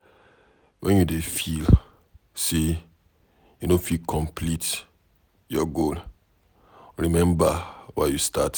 wen you dey feel say you no fit complete your goal, remember why you start.